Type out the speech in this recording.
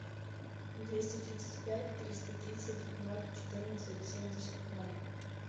двести тридцать пять триста тридцать ноль четырнадцать семьдесят ноль